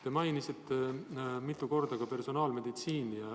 Te mainisite mitu korda ka personaalmeditsiini.